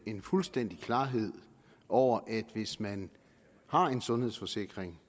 en fuldstændig klarhed over at hvis man har en sundhedsforsikring